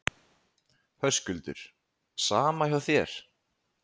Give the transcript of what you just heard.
Höskuldur: Sama hjá þér?